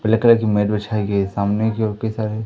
पीले कलर की मैट बिछाई गई है सामने की ओर कई सारे--